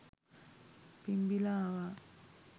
පිම්බිලා ආවා.